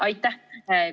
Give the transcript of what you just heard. Aitäh!